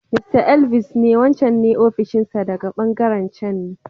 Mr. Elvis ne wancan ne ofishin sa daga ɓangaren can ne.